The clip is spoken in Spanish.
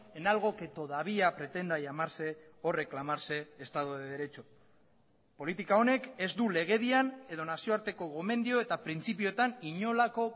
en algo que todavía pretenda llamarse o reclamarse estado de derecho politika honek ez du legedian edo nazioarteko gomendio eta printzipioetan inolako